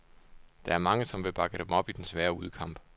Der er mange, som vil bakke dem op i den svære udekamp.